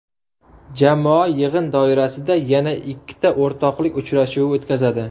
Jamoa yig‘in doirasida yana ikkita o‘rtoqlik uchrashuvi o‘tkazadi.